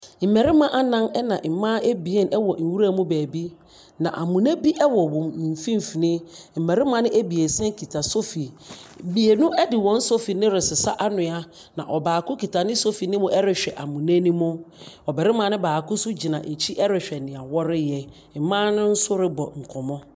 Mmarima anan ɛna mmaa ebien ɛwɔ nwura mu baabi, na amena bi ɛwɔ wɔn mfimfini. Mmarimma no ebesia kuta sofi. Mmienu de wɔn sofi no resesa anhwea. Na ɔbaako kita ne sofi no ɛrehwɛ amena no mu. Ɔbarimma baako nso gyina wɔn ɛkyi ɛrehwɛ nea wɔreyɛ. Mmaa no nso ɛrebɔ nkɔmmɔ.